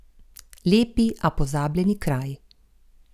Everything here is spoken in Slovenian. Lepi, a pozabljeni kraji.